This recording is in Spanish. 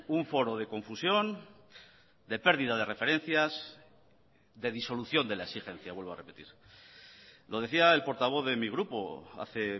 un foro de confusión de pérdida de referencias de disolución de la exigencia vuelvo a repetir lo decía el portavoz de mi grupo hace